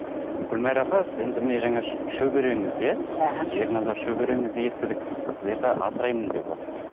гүлмайра апа енді міне жаңа шөбереңіз иә іхі ерназар шөбереңізді естідік сіздерді асыраймын деп отыр